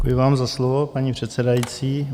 Děkuji vám za slovo, paní předsedající.